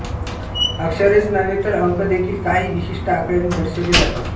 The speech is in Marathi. अक्षरेच नव्हे तर अंकदेखील काही विशिष्ट आकड्यांनी दर्शविले जातात